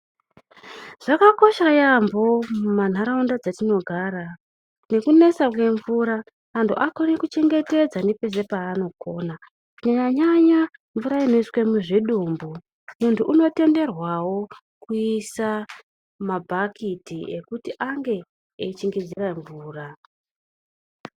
Zvakakosha ,yaambo muma ntaraunda dzatinogara nekunetsa kwemvura, antu akone kuchengetedza nepese paanogona kunyanyanyanya mvura inoiswe muzvidumbu, muntu unotenderwawo kuisa muma bhakiti ekuti ange echingidzira mvura.